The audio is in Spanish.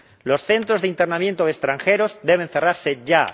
Los centros de internamiento de extranjeros deben cerrarse ya.